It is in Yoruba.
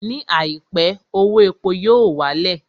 Ní àìpé, owó epo yóò wá lẹ̀